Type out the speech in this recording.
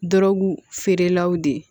Dɔrɔgu feerelaw de ye